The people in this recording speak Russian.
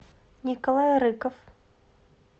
николай рыков